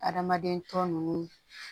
Adamaden tɔ ninnu